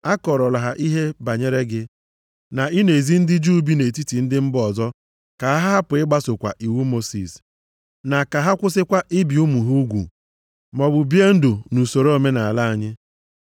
A kọọrọla ha ihe banyere gị, na ị na-ezi ndị Juu bi nʼetiti ndị mba ọzọ ka ha hapụ ịgbasokwa iwu Mosis, na ka ha kwụsịkwa ibi ụmụ ha ugwu maọbụ bie ndụ nʼusoro omenaala anyị.